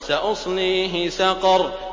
سَأُصْلِيهِ سَقَرَ